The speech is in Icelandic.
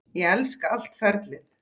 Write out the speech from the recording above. Ég elska allt ferlið.